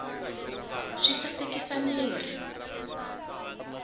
swi sasekisa mirhi